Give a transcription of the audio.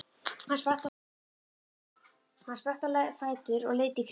Hann spratt á fætur og leit í kringum sig.